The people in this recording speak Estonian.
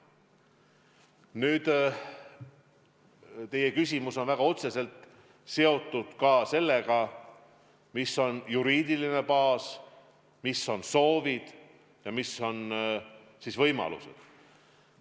Nüüd, teie küsimus on väga otseselt seotud ka sellega, mis on juriidiline baas, millised on soovid ja millised on võimalused.